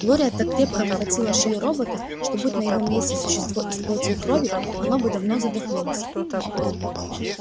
глория так крепко обхватила шею робота что будь на его месте существо из плоти и крови оно бы давно задохнулось